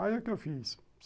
Aí o que eu fiz?